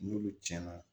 N'olu tiɲɛna